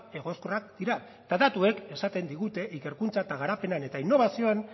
egoskorrak dira eta datuek esaten digute ikerkuntzan garapenean eta inobazioan